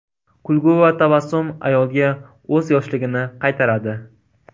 Kulgu va tabassum ayolga o‘z yoshligini qaytaradi.